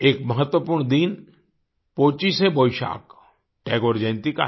एक महत्वपूर्ण दिन पोचिशे बोइशाक टैगोर जयंती का है